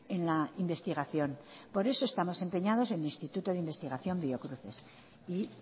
en la investigación por eso estamos empeñados en el instituto de investigación biocruces y